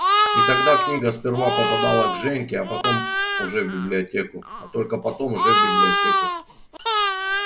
и тогда книга сперва попадала к женьке а потом уже в библиотеку а только потом уже в библиотеку